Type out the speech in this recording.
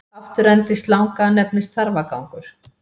Afturendi slanga nefnist þarfagangur.